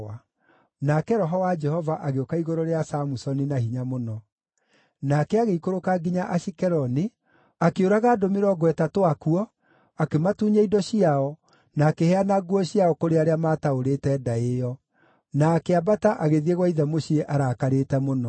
Nake Roho wa Jehova agĩũka igũrũ rĩa Samusoni na hinya mũno. Nake agĩikũrũka nginya Ashikeloni, akĩũraga andũ mĩrongo ĩtatũ akuo, akĩmatunya indo ciao, na akĩheana nguo ciao kũrĩ arĩa maataũrĩte ndaĩ ĩyo. Na akĩambata agĩthiĩ gwa ithe mũciĩ arakarĩte mũno.